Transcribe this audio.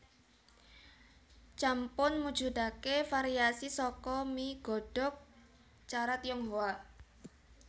Champon mujudake variasi saka mi godhog cara Tionghoa